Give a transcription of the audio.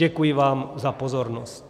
Děkuji vám za pozornost.